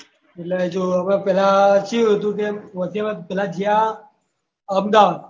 એટલે હજુ પેહલા કેવું હતી કે પહુચે વત પેહલા ગયા અમદાવાદ